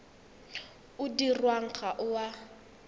o dirwang ga o a